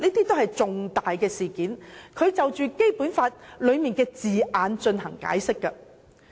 這些均屬重大事件，要就《基本法》條文的字眼進行解釋。